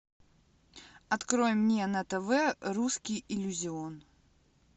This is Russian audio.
открой мне на тв русский иллюзион